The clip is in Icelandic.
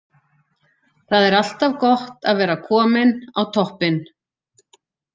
Það er alltaf gott að vera kominn á toppinn.